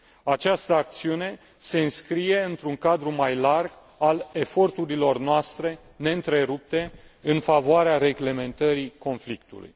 Această acțiune se înscrie într un cadru mai larg al eforturilor noastre neîntrerupte în favoarea reglementării conflictului.